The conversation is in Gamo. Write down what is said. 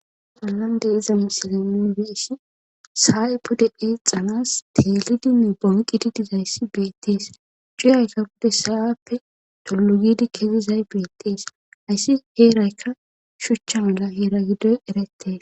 Bollande iza misile nuybeessi saay pode eexanas teelidinne bonqiti dizayssi beettees cuyayka pode saappe tollu gidi kezizay beettees ayssi heeraykka shuchcha mala heera giddoy erettees.